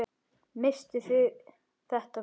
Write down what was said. Misstuð þér þetta, frú!